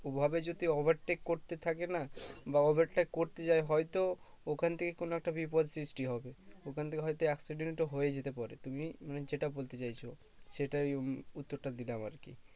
অভাবে যদি overtake করতে থাকে না বা overtake করতে যায় হয়তো ওখান থেকে কোনো একটা বিপদ সৃষ্টি হবে ওখান থেকে হয়তো accident ও হয়ে যেতে পারে তুমি মানে যেটা বলতে চাইছো সেটাই আমি উত্তরটা দিলাম আর কি